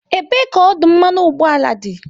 Ebee ka ọdụ mmanụ ụgbọala dị?